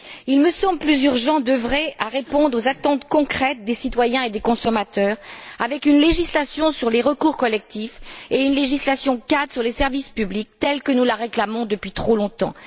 Il me semble plus urgent d'œuvrer à répondre aux attentes concrètes des citoyens et des consommateurs avec une législation sur les recours collectifs et une législation cadre sur les services publics telle que nous la réclamons depuis trop longtemps.